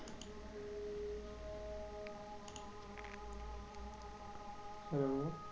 hello